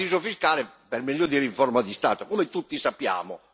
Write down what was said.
È un paradiso fiscale, per meglio dire, in forma di Stato, come tutti sappiamo.